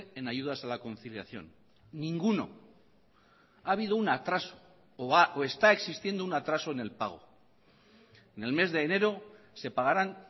en ayudas a la conciliación ninguno ha habido un atraso o está existiendo un atraso en el pago en el mes de enero se pagarán